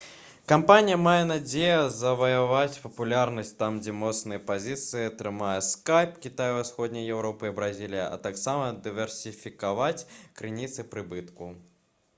кампанія мае надзею заваяваць папулярнасць там дзе моцныя пазіцыі трымае скайп кітай усходняя еўропа і бразілія а таксама дыверсіфікаваць крыніцы прыбытку